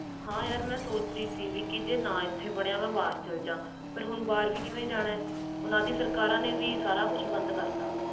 ਹੈ ਯਾਰ ਮੈਂ ਸੋਚ ਰਹੀ ਸੀ ਜੇ ਇਥੇ ਨਾ ਕੁਛ ਬਣਿਆ ਮੈਂ ਬਹਾਰ ਚਲ ਜਾਣਾ ਆ ਪਰ ਓਹਨਾ ਦੀਆ ਸਰਕਾਰਾਂ ਨੇ ਵੀ ਸਬ ਬੰਦ ਕਰਤਾ